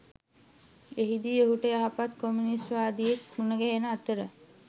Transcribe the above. එහිදී ඔහුට යහපත් කොමියුනිස්ට්වාදියෙක් මුණ ගැහෙන අතර